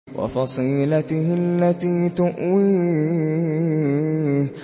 وَفَصِيلَتِهِ الَّتِي تُؤْوِيهِ